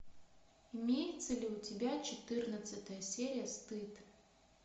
имеется ли у тебя четырнадцатая серия стыд